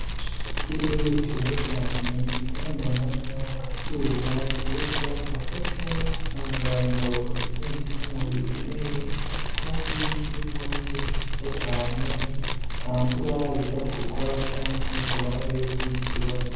Ikirere ciza cane gikayanganamwo akazuba keza agafasha gutanga ingaburo zimwe zimwe umubiri ukeneye, kandi ikirimwo n'ibico vyiza cane atamvura iza kugwa canke ngo habe ikindi kibazo.